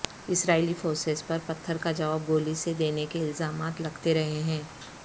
اسرائیلی forces پر پتھر کا جواب گولی سے دینے کے الزامات لگتے رہے ہیں